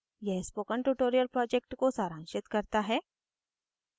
यह spoken tutorial project को सारांशित करता है